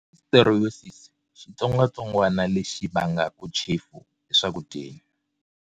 Listeriosis Xitsongwatsongwani lexi vangaka chefu eswakudyeni.